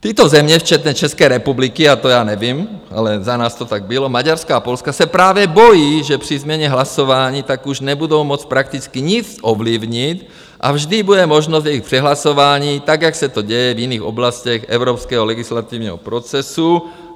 Tyto země, včetně České republiky - a to já nevím, ale za nás to tak bylo - Maďarska a Polska se právě bojí, že při změně hlasování tak už nebudou moct prakticky nic ovlivnit a vždy bude možnost jejich přehlasování tak, jak se to děje v jiných oblastech evropského legislativního procesu.